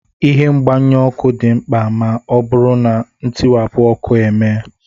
Ihe mgbanyụ ọkụ dị mkpa ma ọ bụrụ na ntiwapụ ọkụ emee